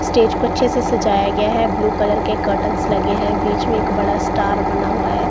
Stage को अच्छे से सजाया गया है ब्लू कलर के कार्टेन्स लगे हैं बीच में एक बड़ा स्टार बना हुआ है।